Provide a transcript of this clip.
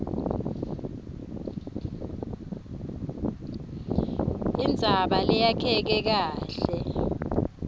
indzaba leyakheke kahle